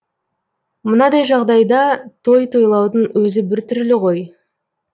мынадай жағдайда той тойлаудың өзі біртүрлі ғой